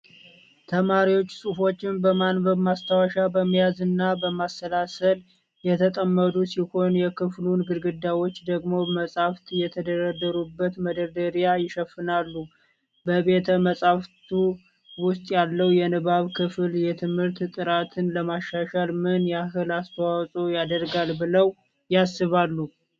ተማሪዎች ጽሑፎችን በማንበብ፣ ማስታወሻ በመያዝ እና በማሰላሰል የተጠመዱ ሲሆን፣ የክፍሉን ግድግዳዎች ደግሞ መጻሕፍት የተደረደሩበት መደርደሪያ ይሸፍናሉ። በቤተ-መጽሐፍቱ ውስጥ ያለው የንባብ ክፍል የትምህርት ጥራትን ለማሻሻል ምን ያህል አስተዋጽኦ ያደርጋል ብለው ያስባሉ?